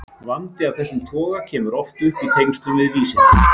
Vandi af þessum toga kemur oft upp í tengslum við vísindi.